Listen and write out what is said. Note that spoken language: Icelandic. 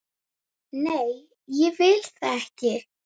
Nei, ég vil það ekki.